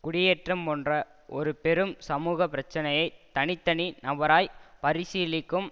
குடியேற்றம் போன்ற ஒரு பெரும் சமூக பிரச்சனையை தனி தனி நபராய் பரிசீலிக்கும்